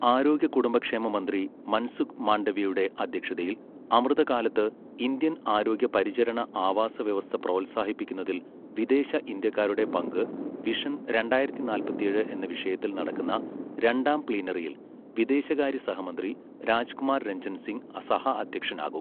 ആരോഗ്യ കുടുംബക്ഷേമ മന്ത്രി മൻസുഖ് മാണ്ഡവ്യയുടെ അധ്യക്ഷതയിൽ അമൃതകാലത്ത്‌ ഇന്ത്യൻ ആരോഗ്യ പരിചരണ ആവാസവ്യവസ്ഥ പ്രോത്സാഹിപ്പിക്കുന്നതിൽ വിദേശ ഇന്ത്യക്കാരുടെ പങ്ക് വിഷൻ രണ്ടായിരത്തി നാല്പത്തിയേഴ് എന്ന വിഷയത്തിൽ നടക്കുന്ന രണ്ടാം പ്ലീനറിയിൽ വിദേശകാര്യ സഹമന്ത്രി രാജ്കുമാർ രഞ്ജൻ സിങ് സഹഅധ്യക്ഷനാകും.